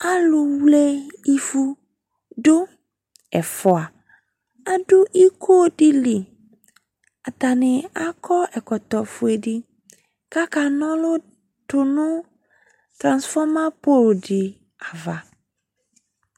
Aalʋwle ivʋɖʋ, ɛfua, aɖʋ ikoɖili, atani akɔ ɛkɔtɔ fueɖi k'aka na ɔlu tʋnu transfomer pole ɖi ava